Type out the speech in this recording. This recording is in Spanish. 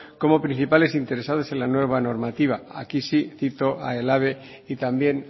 como principales interesados en la nueva normativa aquí si cito a ehlabe y también